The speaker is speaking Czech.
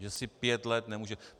Že si pět let nemůže...